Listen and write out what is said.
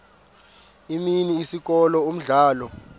imini isikolo umdlalo